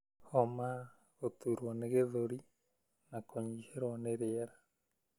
homa, gũtuurwo nĩ gĩthũri, na kũnyihĩrwo nĩ rĩera.